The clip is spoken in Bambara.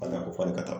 Bana o fɔli ka taa